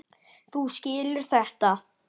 Þú skilur þetta?